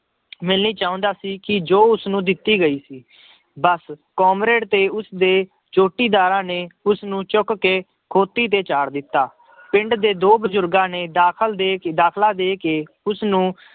ਮਿਲਣੀ ਚਾਹੁੰਦਾ ਸੀ ਕਿ ਜੋ ਉਸਨੂੰ ਦਿੱਤੀ ਗਈ ਸੀ ਬਸ ਕਾਮਰਡੇ ਤੇ ਉਸਦੇ ਜੋਟੀਦਾਰਾਂ ਨੇ ਉਸਨੂੰ ਚੁੱਕ ਕੇ ਖੋਤੀ ਤੇ ਚਾੜ੍ਹ ਦਿੱਤਾ, ਪਿੰਡ ਦੇ ਦੋ ਬਜ਼ੁਰਗਾਂ ਨੇ ਦਾਖਲ ਦੇ, ਦਾਖਲਾ ਦੇ ਕੇ ਉਸਨੂੰ